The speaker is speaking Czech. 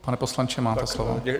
Pane poslanče, máte slovo.